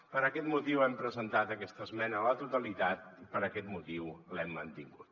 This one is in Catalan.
per aquest motiu hem presentat aquesta esmena a la totalitat i per aquest motiu l’hem mantingut